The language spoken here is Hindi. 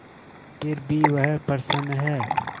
फिर भी वह प्रसन्न है